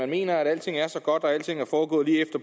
mener at alting er så godt og alting er foregået lige